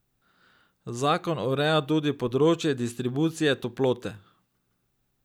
Zakon ureja tudi področje distribucije toplote.